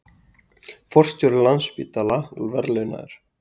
Forstjóri Landspítala verðlaunaður